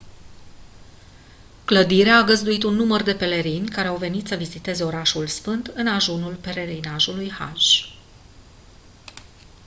clădirea a găzduit un număr de pelerini care au venit să viziteze orașul sfânt în ajunul pelerinajului hajj